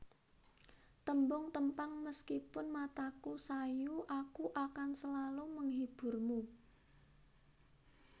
Tembung Tempang Meskipun mataku sayu aku akan selalu menghiburmu